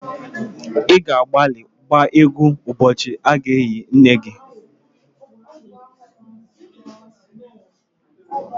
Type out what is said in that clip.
Ị ga-agbalị gbaa égwú ụbọchị a ga-eli nne gị